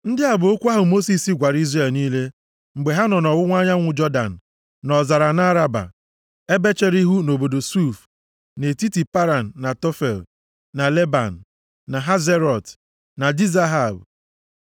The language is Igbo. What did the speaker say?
Ndị a bụ okwu ahụ Mosis gwara Izrel niile mgbe ha nọ nʼọwụwa anyanwụ Jọdan, + 1:1 Nke a bụ nʼofe Jọdan nʼọzara nʼAraba, ebe chere ihu nʼobodo Suf, nʼetiti Paran na Tofel na Leban, na Hazerọt, na Dizahab.